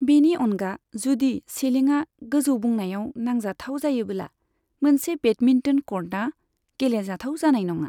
बेनि अनगा, जुदि सिलिंआ गोजौ बुनायाव नांजाथाव जायोबोला मोनसे बेडमिन्टन कर्टआ गेलेजाथाव जानाय नङा।